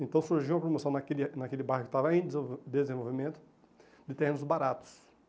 Então surgiu a promoção naquele ah naquele bairro que estava em desen desenvolvimento de terrenos baratos.